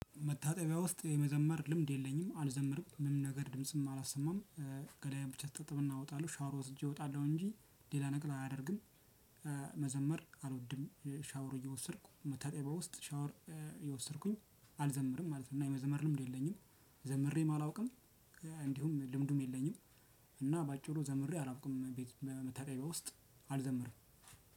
መታጠቢያ ውስጥ የመዘመር ልምድ የለኝም አልዘምርም ምንም ነገር ድምጽም አላሰማም ገላየ ብቻ እታጠብና እወጣለው ሻወር ወስጄ እወጣለው እንጂ ሌላ ነገር አያደርግም። መዘመር አልወድም ሻወር እየወሰድኩ መታጠቢያ ውስጥ ሻወር እየወሰድኩኝ አልዘምርም ማለት ነው። እና የመዘመር ልምድ የለኝም። ዘምሬም አላውቅም። እንዲሁም ልምዱም የለኝም። እና በአጭሩ ዘምሬ አላውቅም ቤት መታጠብያ ውስጥ አልዘምርም።